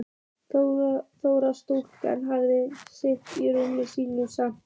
Þórir: Sjúklingar hafa haldist í rúmum sínum samt?